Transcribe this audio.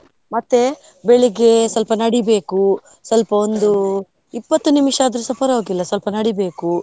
ಮತ್ತೆ ಬೆಳಿಗ್ಗೆ ಸ್ವಲ್ಪ ನಡಿಬೇಕು, ಸ್ವಲ್ಪ ಇಪತ್ತು ನಿಮಿಷ ಆದ್ರೂಸ ಪರವಾಗಿಲ್ಲ ಸ್ವಲ್ಪ ನಡಿಬೇಕು.